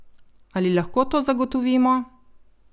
Ali lahko to zagotovimo?